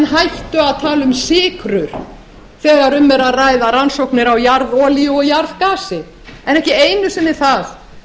hættu að tala um sykrur þegar um er að ræða rannsóknir á jarðolíu og jarðgasi en ekki einu sinni það